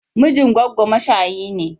Mijin goggo mashayi ne.